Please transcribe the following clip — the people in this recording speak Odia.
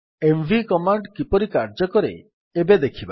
ଏମଭି କମାଣ୍ଡ୍ କିପରି କାର୍ଯ୍ୟ କରେ ଏବେ ଦେଖିବା